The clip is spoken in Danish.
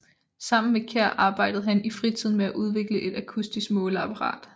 Sammen med Kjær arbejde han i fritiden med at udvikle et akustisk måleapparat